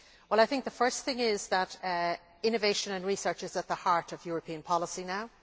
I think the first thing is that innovation and research is at the heart of European policy now.